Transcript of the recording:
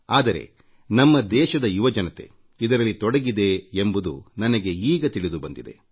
ಆದರೆ ನಮ್ಮ ದೇಶದ ಯುವಜನತೆ ಇದರಲ್ಲಿ ತೊಡಗಿದೆ ಎಂಬುದು ನನಗೆ ಈಗ ತಿಳಿದುಬಂತು